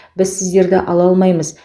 біз сіздерді ала алмаймыз